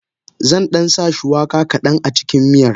Zandan sa shuwaka kadan acikin miyar.